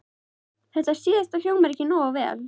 Þetta síðasta hljómar ekki nógu vel.